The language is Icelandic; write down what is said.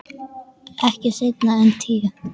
Ekki seinna en tíu.